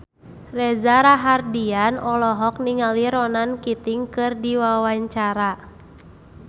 Reza Rahardian olohok ningali Ronan Keating keur diwawancara